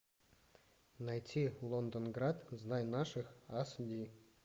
найти лондон град знай наших аш ди